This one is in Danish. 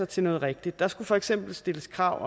til noget rigtigt der skulle for eksempel stilles krav